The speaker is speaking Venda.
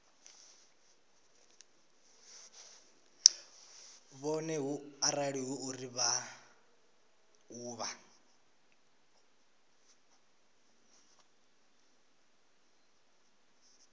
vhoṱhe arali hu uri maḓuvha